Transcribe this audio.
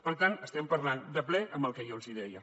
per tant estem parlant de ple del que jo els deia